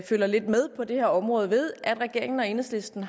følger lidt med på det her område ved at regeringen og enhedslisten